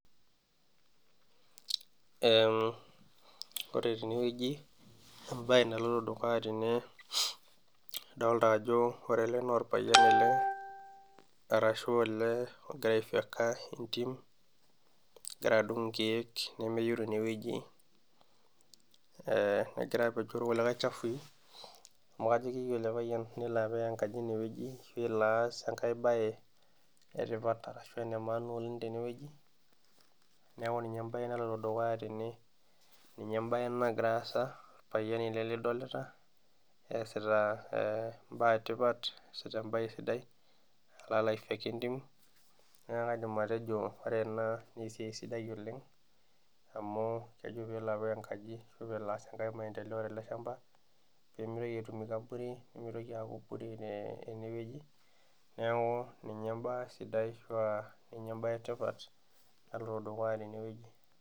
Ore teneweji ,entoki naloito dukuya teneweji idolita ajo ore ele na orpayian ele eshu olee ogira aifyeka entim, engira adung nkeek, negira apeny irkulie chafui amu kajo keyieu ele payian nelo apik enkaji eneweji ashu elo aas enkae bae etipat ashu elo aas enkae bae etipat ashu emaana oleng teneweji ,neeku ninye embae naloito dukuya tene ninye embae nagira aasa orpayian ele lidolita eesita embae sidai alo aifyeka entim naake kaidim atejo ore ena naa esiai sidai oleng emu kejo pee elo apik enkaji ashu elo aas enkae maendeleo teleshampa pee mitoki aaku bure eneweji neeku ninye embae etipat naloito dukuya teneweji.